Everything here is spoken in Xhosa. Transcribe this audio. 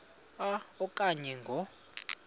a okanye ngo